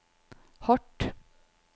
hardt